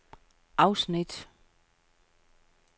afsnit